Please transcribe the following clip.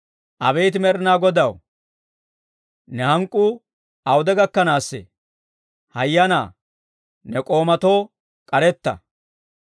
Abeet Med'inaa Godaw, ne hank'k'uu awude gakkanaassee? Hayanaa; ne k'oomatoo k'aretta!